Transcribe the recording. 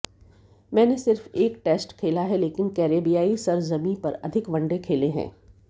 मैंने सिर्फ एक टेस्ट खेला है लेकिन कैरेबियाई सरजमीं पर अधिक वनडे खेले हैं